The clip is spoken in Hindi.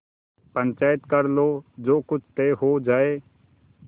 पंचायत कर लो जो कुछ तय हो जाय